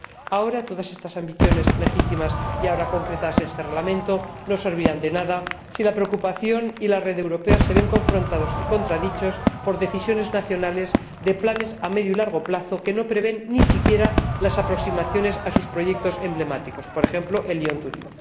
Ahora bien, todas estas ambiciones legítimas y ahora concretadas en este Reglamento no servirán de nada si la preocupación y la red europea se ven confrontados y contradichos por decisiones nacionales de planes a medio y largo plazo que no prevén siquiera las aproximaciones a sus proyectos emblemáticos ―por ejemplo, el Lyon Turín―.